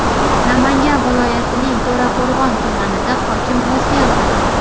Namangan viloyatining To‘raqo‘rg‘on tumanida hokim o‘zgardi.